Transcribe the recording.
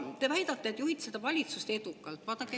Te väidate, et juhite valitsust edukalt.